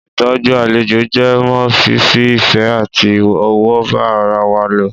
Ìtọjú àlejò jẹ mọ́ fífi ìfẹ àti ọ̀wọ̀ ba ará wá lò